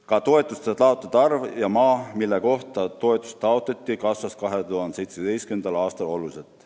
Ka toetuste taotlejate arv ja maa, mille kohta toetusi taotleti, kasvasid 2017. aastal oluliselt.